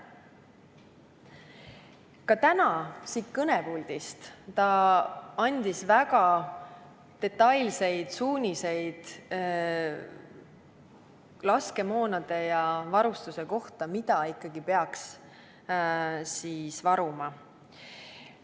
Ka täna siit kõnepuldist andis ta väga detailseid suuniseid laskemoona ja varustuse kohta, mida peaks varuma.